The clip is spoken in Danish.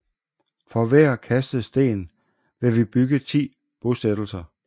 For hver kastet sten vil vi bygge ti bosættelser